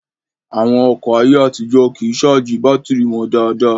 Àwọn ọkọ̀ ayé àtijó kìí ṣáàjì bátìrì wọn dáadáa